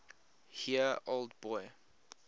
year old boy